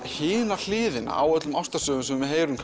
hina hliðina á ástarsögum sem við heyrðum